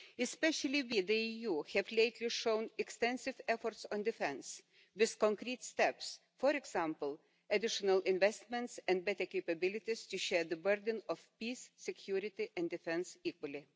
Especially we, the EU, have lately shown extensive efforts on defence, with concrete steps for example, additional investments and better capabilities to share the burden of peace, security and defence equally.